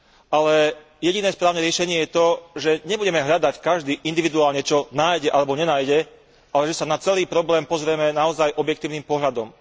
Ale jediné správne riešenie je to, že nebudeme hľadať každý individuálne, čo nájde alebo nenájde, ale že sa na celý problém pozrieme naozaj objektívnym pohľadom.